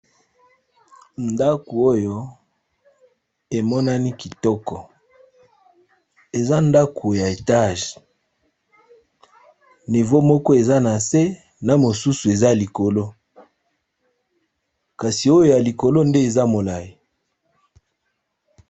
Ndako oyo emonani kitoko eza ndako ya etage nivo moko eza na se na mosusu eza likolo kasi oyo ya likolo nde eza molayi.